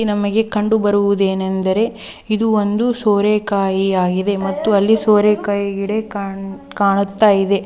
ಈ ದೃಶ್ಯದಲ್ಲಿ ಕಂಡು ಬರುವುದೇನೆಂದರೆ ಇದೊಂದು ಸೋರೆಕಾಯಿಯಾಗಿದೆ ಮತ್ತು ಅಲ್ಲಿ ಸೋರೆಕಾಯಿ ಕಾಣುತ್ತಿದೆ